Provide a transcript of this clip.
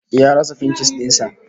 Ya rasa fincis din sa